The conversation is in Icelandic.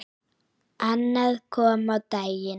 Annað kom á daginn.